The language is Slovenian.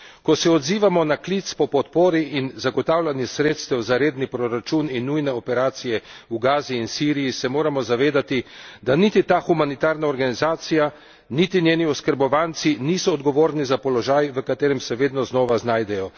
Ko se odzivamo na klic po podpori in zagotavljanju sredstev za redni proračun in nujne operacije v Gazi in Siriji, se moramo zavedati, da niti ta humanitarna organizacija, niti njeni oskrbovanci niso odgovorni za položaj, v katerem se vedno znova znajdejo.